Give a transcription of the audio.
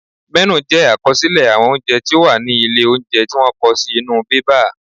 Mẹ́nù jẹ àkọsílẹ̀ àwọn oúnjẹ tí ó wà ní ilé óúnjẹ tí wọ́n kọ sí inú bébà